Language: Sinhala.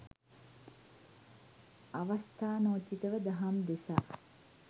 අවස්ථානෝචිතව දහම් දෙසා